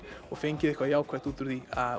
og fengið eitthvað jákvætt út úr því